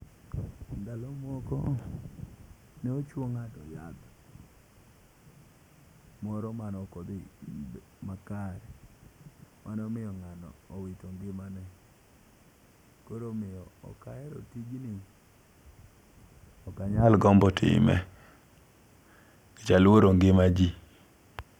Ndalo moko nochuo ng'ato yath moro manoko dhi makare mano miyo ng'ano owito ngimane . Koro omiyo ok ahero tijni ok anyal gombo timbe nikech aluoro ngima jii.